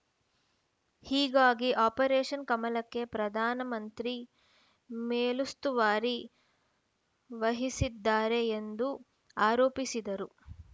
ಹೀಗಾಗಿ ಆಪರೇಷನ್‌ ಕಮಲಕ್ಕೆ ಪ್ರಧಾನಮಂತ್ರಿ ಮೇಲುಸ್ತವಾರಿ ವಹಿಸಿದ್ದಾರೆ ಎಂದು ಆರೋಪಿಸಿದರು